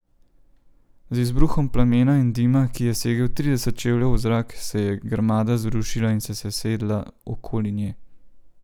Z izbruhom plamena in dima, ki je segel trideset čevljev v zrak, se je grmada zrušila in se sesedla okoli nje.